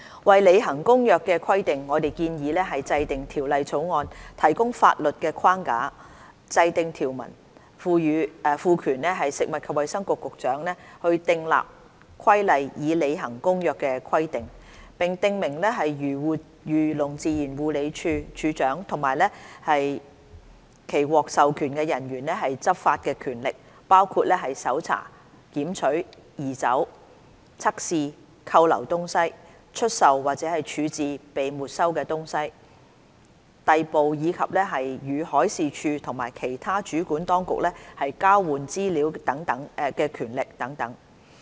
為履行《公約》的規定，我們建議制定《條例草案》提供法律框架，訂定條文，賦權食物及衞生局局長訂立規例以履行《公約》的規定，並訂明漁農自然護理署署長及其獲授權人員的執法權力，包括搜查、檢取、移走、測試、扣留東西、出售或處置被沒收東西、逮捕，以及與海事處和其他主管當局交換資料的權力等。